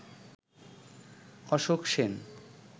Ashok Sen